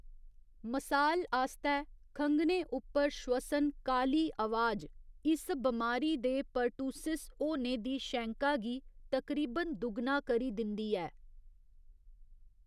मसाल आस्तै खंघने उप्पर श्वसन 'काली' अवाज इस बमारी दे पर्टुसिस होने दी शैंका गी तकरीबन दुगना करी दिंदी ऐ।